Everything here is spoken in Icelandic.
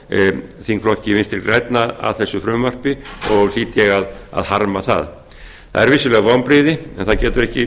ná þingflokki vinstri grænna að þessu frumvarpi og hlýt ég að harma það það eru vissulega vonbrigði en það getur ekki